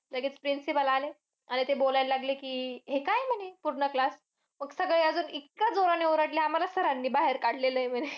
लगेच principal आले. आणि ते बोलायला लागले की हे काय म्हणे पूर्ण class म्हणजे अजून सगळे इतका जोराने ओरडले आम्हाला की sir नी आम्हाला बाहेर काढलेलंय म्हणे.